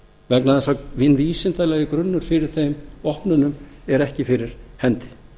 vegna þess að hinn vísindalegi grunnur fyrir þeim opnunum er ekki fyrir hendi